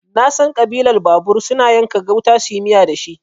Nasan Ƙabilar babur suna yanka gauta suyi miya dashi